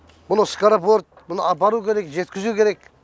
мұны скоропорт мұны апару керек жеткізу керек